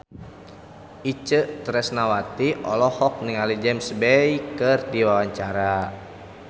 Itje Tresnawati olohok ningali James Bay keur diwawancara